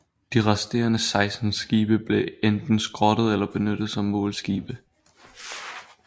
De resterende 16 skibe blev enten skrottet eller benyttet som målskibe